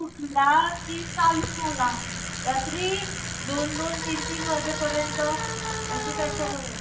उठला कि चालू झाला. रात्री दोन-दोन तीन-तीन वाजेपर्यंत त्याचं, त्याच्यावरचं.